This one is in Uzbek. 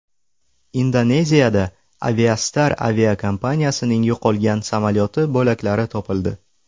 Indoneziyada Aviastar aviakompaniyasining yo‘qolgan samolyoti bo‘laklari topildi.